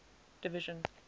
division